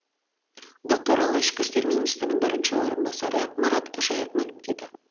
бұл туралы ішкі істер министрінің бірінші орынбасары марат қожаев мәлімдеді